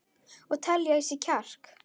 Og telja í sig kjark.